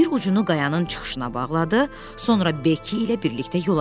Bir ucunu qayanın çıxışına bağladı, sonra Bekki ilə birlikdə yola düşdülər.